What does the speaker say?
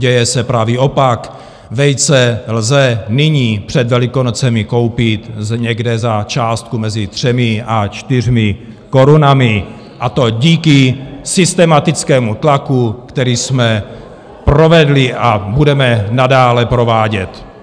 Děje se pravý opak - vejce lze nyní před Velikonocemi koupit někde za částku mezi 3 a 4 korunami, a to díky systematickému tlaku, který jsme provedli a budeme nadále provádět.